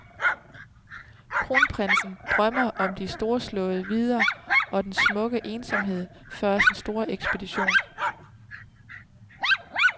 Kronprinsen drømmer om de storslåede vidder og den smukke ensomhed før sin store ekspedition.